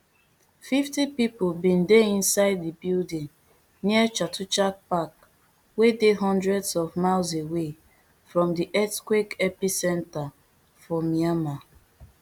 fifty pipo bin dey inside di building near chatuchak park wey dey hundreds of miles away from di earthquake epicentre for myanmar